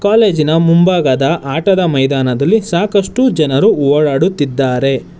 ಕಾಲೇಜಿನ ಮುಂಭಾಗದ ಆಟದ ಮೈದಾನದಲ್ಲಿ ಸಾಕಷ್ಟು ಜನರು ಓಡಾಡುತ್ತಿದ್ದಾರೆ.